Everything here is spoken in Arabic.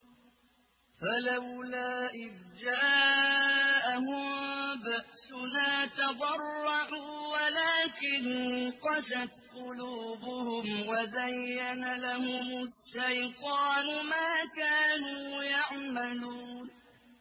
فَلَوْلَا إِذْ جَاءَهُم بَأْسُنَا تَضَرَّعُوا وَلَٰكِن قَسَتْ قُلُوبُهُمْ وَزَيَّنَ لَهُمُ الشَّيْطَانُ مَا كَانُوا يَعْمَلُونَ